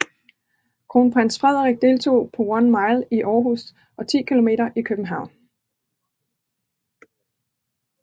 Kronprins Frederik deltog på One Mile i Aarhus og 10 km i København